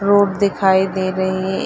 road दिखाई दे रहे है ए --